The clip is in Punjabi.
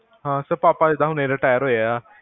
ਹਾਂ ਸਰ ਪਾਪਾ ਜਿਦਾਂ ਹੁਣੇ retire ਹੋਏ ਆ